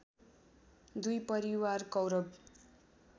दुई परिवार कौरव